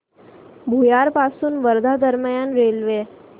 भुयार पासून वर्धा दरम्यान रेल्वे